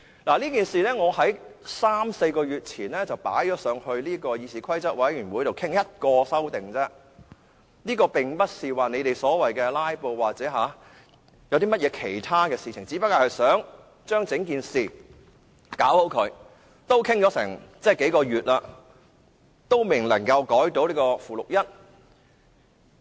我三四個月前向議事規則委員會提出討論這事，我只是提出一項修訂建議，並不是他們說的所謂"拉布"等，只不過想做好整件事，但討論了差不多數個月，仍然未能修改附表1。